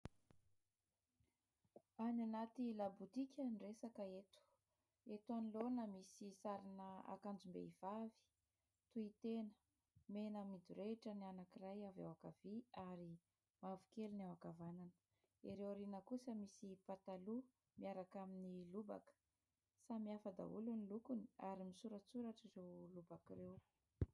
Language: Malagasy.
Any anaty labotika ny resaka eto. Eto anoloana misy sarina akanjom-behivavy; tohitena mena midorehitra ny anankiray avy ao ankavia, ary mavokely ny ao akavanana. Ireo ariana kosa misy pataloha miaraka amin'ny lobaka. Samihafa daholo ny lokony, ary misoratsoratra ireo lobaka ireo.